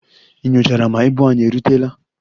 Ị nyochara ma ibu anyị erutela?